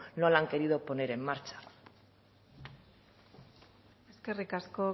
no la han querido poner en marcha eskerrik asko